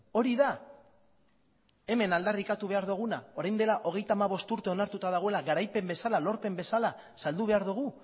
hori da hemen aldarrikatu behar duguna orain dela hogeita hamabost urte onartuta dagoela garaipen bezala lorpen bezala saldu behar dugu